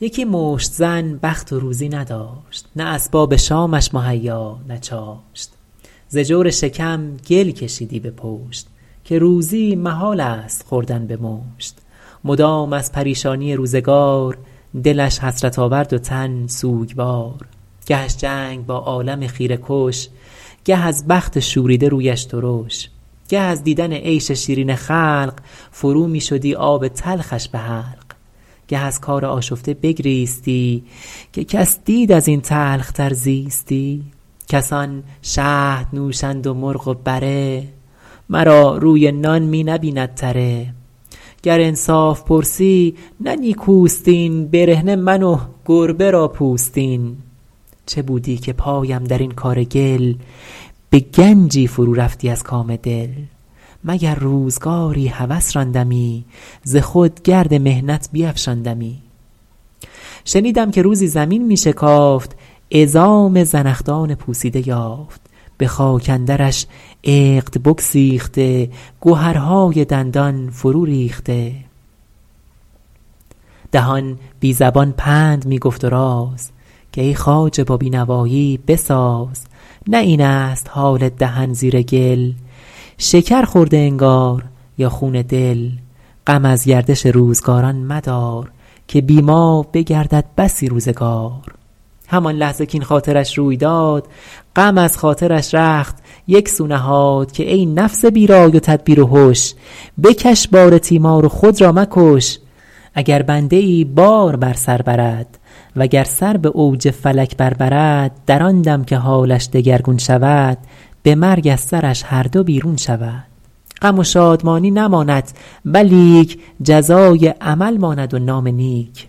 یکی مشت زن بخت و روزی نداشت نه اسباب شامش مهیا نه چاشت ز جور شکم گل کشیدی به پشت که روزی محال است خوردن به مشت مدام از پریشانی روزگار دلش حسرت آورد و تن سوگوار گهش جنگ با عالم خیره کش گه از بخت شوریده رویش ترش گه از دیدن عیش شیرین خلق فرو می شدی آب تلخش به حلق گه از کار آشفته بگریستی که کس دید از این تلخ تر زیستی کسان شهد نوشند و مرغ و بره مرا روی نان می نبیند تره گر انصاف پرسی نه نیکوست این برهنه من و گربه را پوستین چه بودی که پایم در این کار گل به گنجی فرو رفتی از کام دل مگر روزگاری هوس راندمی ز خود گرد محنت بیفشاندمی شنیدم که روزی زمین می شکافت عظام زنخدان پوسیده یافت به خاک اندرش عقد بگسیخته گهرهای دندان فرو ریخته دهان بی زبان پند می گفت و راز که ای خواجه با بینوایی بساز نه این است حال دهن زیر گل شکر خورده انگار یا خون دل غم از گردش روزگاران مدار که بی ما بگردد بسی روزگار همان لحظه کاین خاطرش روی داد غم از خاطرش رخت یک سو نهاد که ای نفس بی رای و تدبیر و هش بکش بار تیمار و خود را مکش اگر بنده ای بار بر سر برد وگر سر به اوج فلک بر برد در آن دم که حالش دگرگون شود به مرگ از سرش هر دو بیرون شود غم و شادمانی نماند ولیک جزای عمل ماند و نام نیک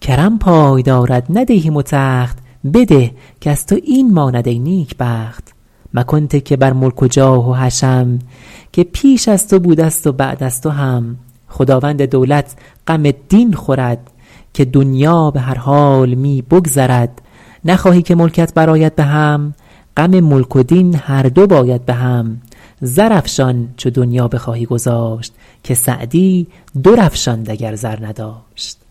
کرم پای دارد نه دیهیم و تخت بده کز تو این ماند ای نیکبخت مکن تکیه بر ملک و جاه و حشم که پیش از تو بوده ست و بعد از تو هم خداوند دولت غم دین خورد که دنیا به هر حال می بگذرد نخواهی که ملکت برآید بهم غم ملک و دین هر دو باید بهم زرافشان چو دنیا بخواهی گذاشت که سعدی در افشاند اگر زر نداشت